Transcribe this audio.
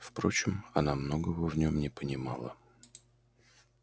впрочем она многого в нем не понимала